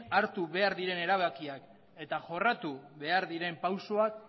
hartu behar diren erabakiak eta jorratu behar diren pausuak